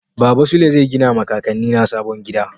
Baba Sule zai gina ma kakanni na sabon gida.